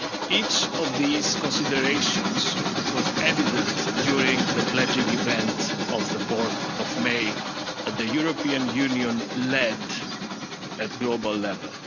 and unity. Each of these considerations was evident during the pledging event of 4 May that the European Union led at global